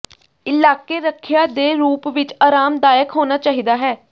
ਇਲਾਕੇ ਰੱਖਿਆ ਦੇ ਰੂਪ ਵਿੱਚ ਆਰਾਮਦਾਇਕ ਹੋਣਾ ਚਾਹੀਦਾ ਹੈ